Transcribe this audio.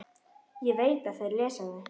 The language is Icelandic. Ég veit að þeir lesa þau.